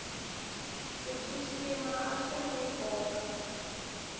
ku xixima a swiri ni nkoka